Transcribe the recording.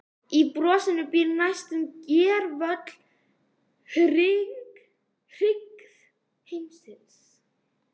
Í brosinu býr næstum gervöll hryggð heimsins.